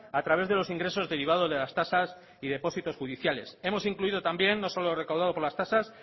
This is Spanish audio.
a través de los ingresos derivados de las tasas y depósitos judiciales hemos incluido también no solo lo recaudado por las tasas